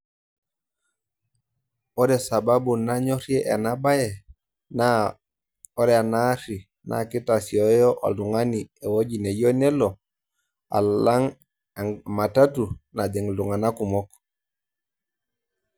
Ore sababu nanyorie ena bae naa ore ena ari naa keitasioyo oltung'ani ewueji nayiou nelo alang' matatu najing' iltung'ana kumok